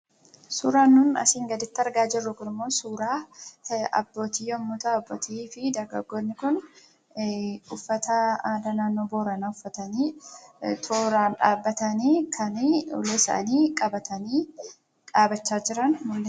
Suuraan nuti asiin gaditti argaa jirru kunimmoo suuraa abbootii yommuu ta'u, abbootii fi dargaggoonni kun uffata aadaa naannoo Booranaa uffatanii tooraan dhaabbatanii kan ulee isaanii qabatanii dhaabbachaa jiranidha.